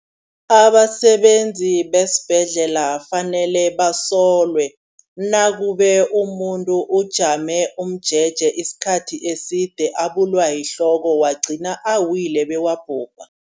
Abasebenzi besibhedlela kufanele basolwe nakube umuntu ujame umjeje isikhathi eside, abulwa yihloko wagcina wabhubha.